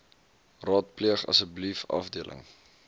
raadpleeg asseblief afdeling